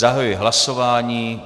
Zahajuji hlasování.